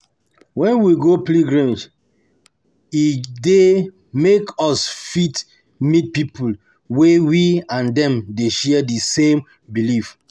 When we go pilgrimage e dey make us fit meet pipo wey we and dem dey share di same belief